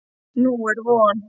Nú er von.